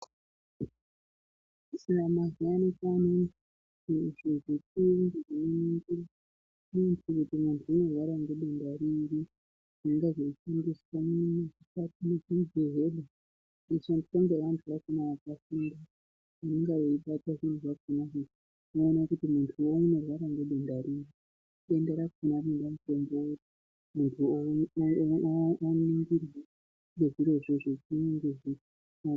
Mazuva ano kwaane mishini inoratidze kuti mundu unorwara ngedenda riri inenge iri muzvibhedhlera inoshandiswa nevandu vakona vakafunda kuone kuti mundu unorware ngedenda riri denda rakona rinode mutombo weyi.